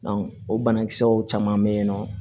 o banakisɛw caman be yen nɔ